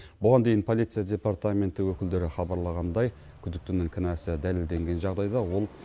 бұған дейін полиция департаменті өкілдері хабарлағандай күдіктінің кінәсі дәлелденген жағдайда ол